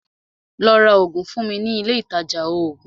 Lọ́ rá oògùn fún mi ní ilé Ilé ìtajà oògùn!